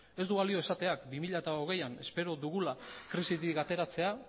ez du balio esatean bi mila hogeian espero dugula krisitik ateratzea